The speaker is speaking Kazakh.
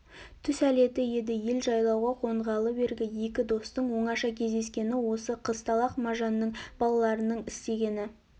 түс әлеті еді ел жайлауға қонғалы бергі екі достың оңаша кездескені осы қызталақ мажанның балаларының істегені